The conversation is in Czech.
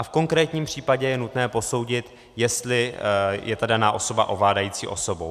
A v konkrétním případě je nutné posoudit, jestli je ta daná osoba ovládající osobou.